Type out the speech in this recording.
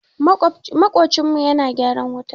Maƙocinmu yana gyaran wuta